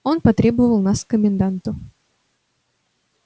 он потребовал нас к коменданту